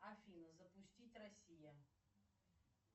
афина запустить россия